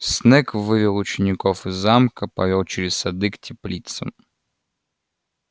снегг вывел учеников из замка повёл через сады к теплицам